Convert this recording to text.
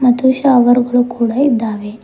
ಮತ್ತು ಶವರ್ ಗಳು ಕೂಡ ಇದ್ದಾವೆ.